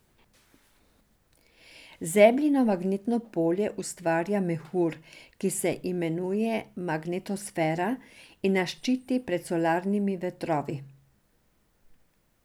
Zemljino magnetno polje ustvarja mehur, ki se imenuje magnetosfera, in nas ščiti pred solarnimi vetrovi.